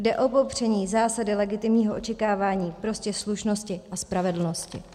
Jde o popření zásady legitimního očekávání, prostě slušnosti a spravedlnosti.